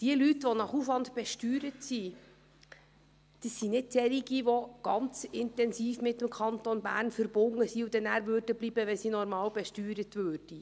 Die Leute, welche nach Aufwand besteuert sind, sind nicht solche, die ganz intensiv mit dem Kanton Bern verbunden sind und dann bleiben würden, wenn sie normal besteuert würden.